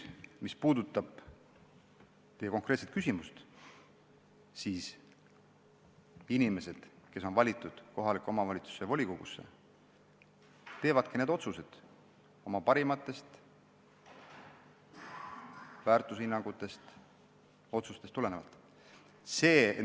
Mis puudutab teie konkreetset küsimust, siis inimesed, kes on valitud kohaliku omavalitsuse volikogusse, teevadki need otsused oma parimatest väärtushinnangutest tulenevalt.